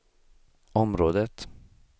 området